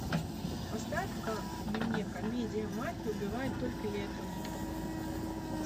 поставь ка мне комедия мафия убивает только летом